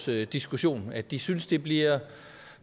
vi diskuterer at de synes det bliver